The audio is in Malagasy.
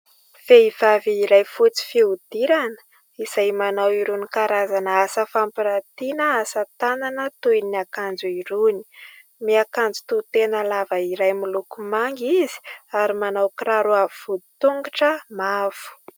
Vehivavy iray fotsy fihodirana, izay manao irony karazana asa fampiratiana asatanana toy ny akanjo irony. Miakanjo tohitena lava iray moloko manga izy ary manao kiraro avo voditongotra mavo.